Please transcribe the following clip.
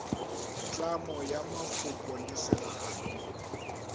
tlhamo ya mafoko le segalo